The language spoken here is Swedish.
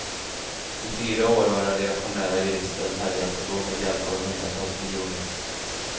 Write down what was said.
I fyra år har den reaktionära juristen härjat och då med hjälp av hundratals miljoner.